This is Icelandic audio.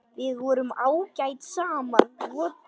Við vorum ágæt saman.